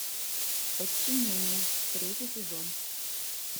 подчинение третий сезон